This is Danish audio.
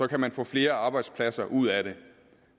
kan man få flere arbejdspladser ud af det